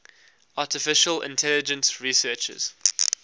artificial intelligence researchers